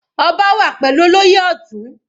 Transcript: Ọba wà pẹ̀lú olóyè Ọtun.